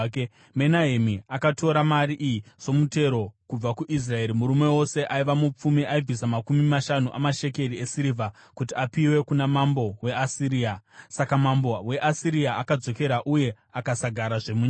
Menahemi akatora mari iyi somutero kubva kuIsraeri. Murume wose aiva mupfumi aibvisa makumi mashanu amashekeri esirivha kuti apiwe kuna mambo weAsiria. Saka mambo weAsiria akadzokera uye akasagarazve munyika.